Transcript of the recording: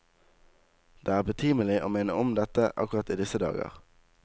Det er betimelig å minne om dette akkurat i disse dager.